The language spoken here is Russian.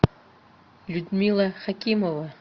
людмила хакимова